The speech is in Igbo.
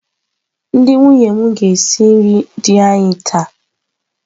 Ndị nwunye m ga-esi nri di anyị taa.